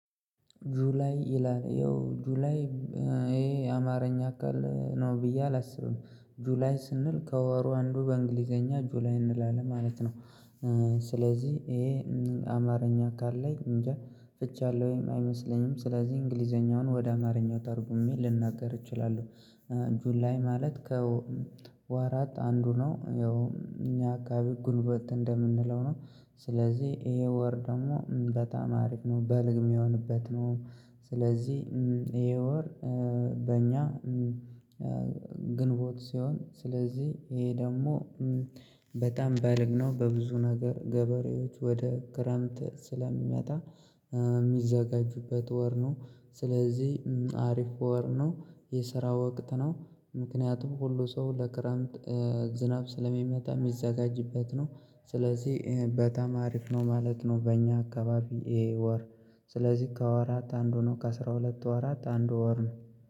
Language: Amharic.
ጁላይ ይላል ይኸው ጁላይ ይሄ የአማርኛ ቃል ነው ብዬ አላስብም ጁላይ ስንል ከወሩ አንዱ በእንግሊዘኛ ጁላይ እንላለን ማለት ነው። ስለዚህ ይሄ አማርኛ ቃል ላይ እንጃ ፍች ያለሁ ወይም አይመስለኝም ስለዚህ እንግሊዘኛውን ወደ አማርኛው ተርጉሜ ልንናገር እችላለሁ። ጁል ላይ ማለት ከወራት አንዱ ነው ያው እኛ አካባቢ ግንቦት እንደምንለው ነው። ስለዚህ ይሄ ወር ደግሞ በጣም አሪፍ ነው በልግ የሚሆንበት ነው። ስለዚህ ይሄ ወር በእኛ ግንቦት ሲሆን ስለዚህ ይሄ ደግሞ በጣም በልግ ነው በብዙ ነገር ገበሬዎች ወደ ክረምት ስለሚመጣ የሚዘጋጁበት ወር ነው። ስለዚህ አሪፍ ወር ነው። የስራ ወቅት ነው። ምክንያቱም ሁሉ ሰው ለክረምት ዝናብ ስለሚመጣ የሚዘጋጅበት ነው። ስለዚህ በጣም አሪፍ ነው ማለት ነው። በእኛ አካባቢ ይሄ ወር ስለዚህ ከወራት አንድ ነው ከአሥራ ሁለት አራት አንድ ወር ነው